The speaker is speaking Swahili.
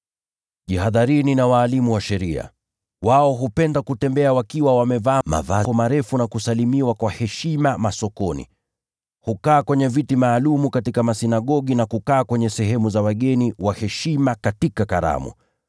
“Jihadharini na walimu wa sheria. Wao hupenda kutembea wakiwa wamevaa mavazi marefu, na kusalimiwa kwa heshima masokoni. Hupenda kukaa kwenye viti vya mbele katika masinagogi, na kukaa kwenye nafasi za heshima katika karamu.